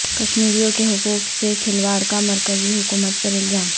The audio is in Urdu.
کشمیریوں کے حقوق سے کھلواڑ کا مرکزی حکومت پر الزام